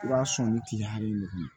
I b'a sɔn ni tile hakɛ in de kama